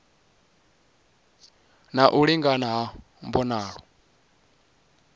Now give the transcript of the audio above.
na u lingana ha mbonalo